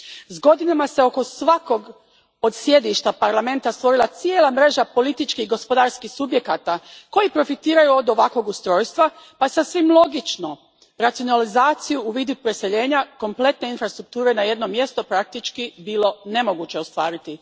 S godinama se oko svakog od sjedišta Parlamenta stvorila cijela mreža političkih i gospodarskih subjekata koji profitiraju od ovakvog ustrojstva pa je sasvim logičnu racionalizaciju u vidu preseljenja kompletne infrastrukture na jedno mjesto praktički bilo nemoguće ostvariti.